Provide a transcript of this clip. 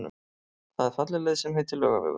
Það er falleg leið sem heitir Laugavegur.